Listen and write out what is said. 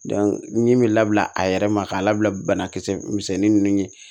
ɲimi be labila a yɛrɛ ma k'a labila bana kisɛ misɛnnin nunnu ye